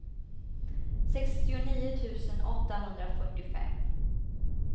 sextionio tusen åttahundrafyrtiofem